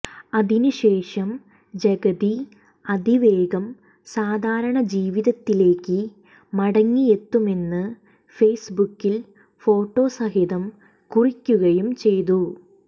അതിന് ശേഷം ജഗതി അതിവേഗം സാധാരണ ജീവിതത്തിലേക്ക് മടങ്ങിയെത്തുമെന്ന് ഫെയ്സ് ബുക്കിൽ ഫോട്ടോ സഹിതം കുറിക്കുകയും ചെയ്തു